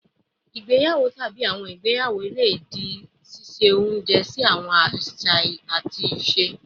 Igbeyawo tabi awọn igbeyawo le di diẹ sii, ṣiṣe ounjẹ si awọn aṣa aṣa